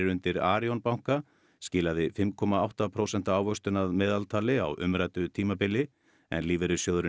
undir Arion banka skilaði fimm komma átta prósenta ávöxtun að meðaltali á umræddu tímabili en lífeyrissjóðurinn